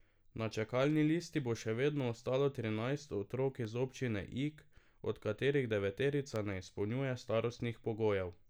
Na čakalni listi bo še vedno ostalo trinajst otrok iz občine Ig, od katerih deveterica ne izpolnjuje starostnih pogojev.